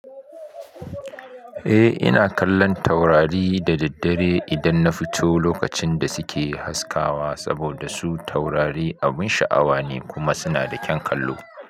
Eh ina kallon taurari da daddare idan na fito lokacin da suke haskawa saboda su taurari abun sha'awa ne kuma suna da kyan kallo.